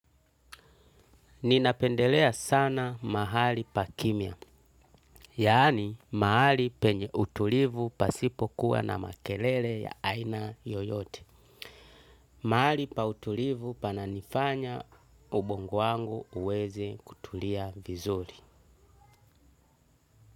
Ninapendelea sana mahali pa kimia, yaani mahali penye utulivu pasipo kuwa na makelele ya aina yoyote. Mahali pa utulivu pananifanya ubongo wangu uweze kutulia vizuri.